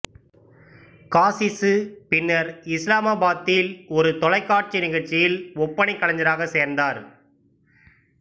காசிசு பின்னர் இஸ்லாமாபாத்தில் ஒரு தொலைக்காட்சி நிகழ்ச்சியில் ஒப்பனை கலைஞராக சேர்ந்தார்